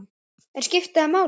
En skiptir það máli?